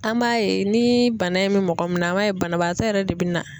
An m'a ye ni bana in bɛ mɔgɔ min na an m'a ye banabaatɔ yɛrɛ de bɛ na.